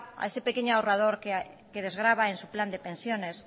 a ese pequeño ahorrador que desgrava en su plan de pensiones